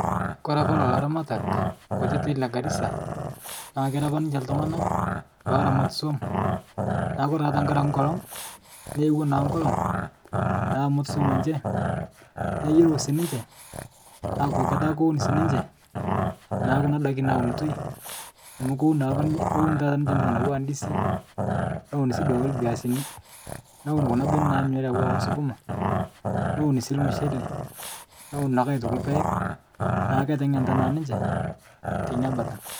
Kore apa lolo aramatak kutiti legarisa naa kera apa ninche ltung'ana loramat swom, naa kore taa ntankare ake nkolong', neewo naa nkolong' naa amut swom enche neyeu sii ninche aku ketaa kowun sii ninche, naa kuna daki naaunitoi, amu kowun naa apa nin kowun taata ninche ntoki natuwaa ndisi, neun sii duake lbeasini, newun kuna bene nanyorii auwaa oo suguma, neun sii lmushele, neun aitoki lpeg naa keteng'enta naa ninche teinabata.